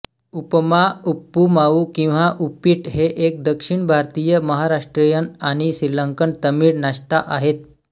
उपमा उप्पुमावू किंवा उप्पीट हे एक दक्षिण भारतीय महाराष्ट्रीयन आणि श्रीलंकन तमिळ नाश्ता आहेत